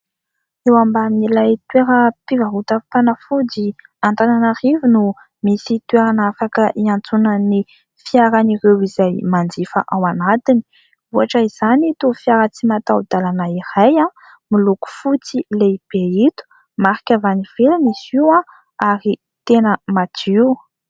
Eo ambanin'ilay toeram-pivarotam-panafody Antananarivo no misy toerana afaka iantsonan'ny fiaran'ireo izay manjifa ao anatiny. Ohatra izany ito fiara tsy mataho-dalana iray, miloko fotsy lehibe ito ; marika avy any ivelany izy io, ary tena madio.